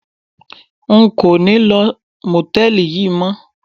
N kò ní lo Mòtẹ́lìì yí mọ́.